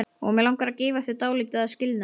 Og mig langar að gefa þér dálítið að skilnaði.